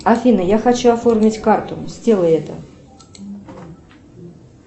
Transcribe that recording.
афина я хочу оформить карту сделай это